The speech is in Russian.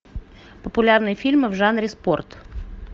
популярные фильмы в жанре спорт